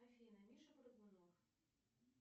афина миша прыгунов